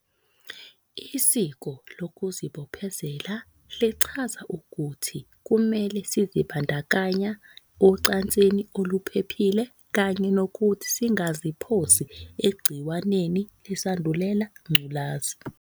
Isiko lokuzibophezela lichaza ukuthi kumele sizibandakanya ocansini oluphephile kanye nokuthi singaziphosi egciwaneni leSandulela Ngculazi.